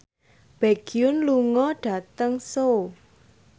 Baekhyun lunga dhateng Seoul